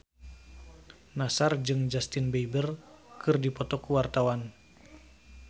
Nassar jeung Justin Beiber keur dipoto ku wartawan